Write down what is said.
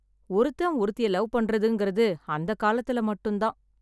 ஒருத்தன் ஒருத்திய லவ் பண்றதுன்றது அந்த காலத்துல மட்டும் தான்.